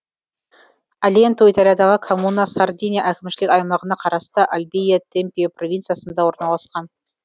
альенту италиядағы коммуна сардиния әкімшілік аймағына қарасты ольбия темпио провинциясында орналасқан